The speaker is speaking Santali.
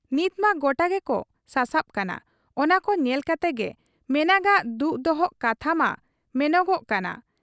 ᱱᱤᱛᱢᱟ ᱜᱚᱴᱟ ᱜᱮᱠᱚ ᱥᱟᱥᱟᱵ ᱠᱟᱱᱟ ᱾ ᱚᱱᱟᱠᱚ ᱧᱮᱞ ᱠᱟᱛᱮᱜᱮ ᱢᱮᱱᱟᱜᱟᱜ ᱫᱩᱜ ᱫᱚᱦᱚ ᱠᱟᱛᱷᱟ ᱢᱟ ᱢᱮᱱᱚᱜᱚᱜ ᱠᱟᱱᱟ ᱾